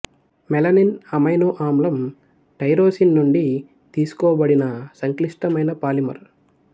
melanin amino ఆమ్లం tyrosine నుండి తీసుకోబడిన సంక్లిష్టమైన పాలిమర్